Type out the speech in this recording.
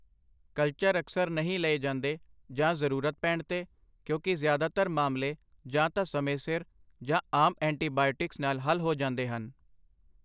Culture ਅਕਸਰ ਨਹੀਂ ਲਏ ਜਾਂਦੇ ਜਾਂ ਜ਼ਰੂਰਤ ਪੈਣ ਤੇ ਕਿਉਂਕਿ ਜ਼ਿਆਦਾਤਰ ਮਾਮਲੇ ਜਾਂ ਤਾਂ ਸਮੇਂ ਸਿਰ ਜਾਂ ਆਮ ਐਂਟੀਬਾਇਓਟਿਕਸ ਨਾਲ ਹੱਲ ਹੋ ਜਾਂਦੇ ਹਨ।